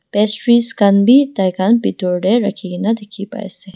pastry khan bi tai khan bitor tae rakhikae na dikhipaiase.